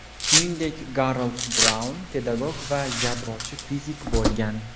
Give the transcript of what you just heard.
Shuningdek, Garold Braun pedagog va yadrochi fizik bo‘lgan.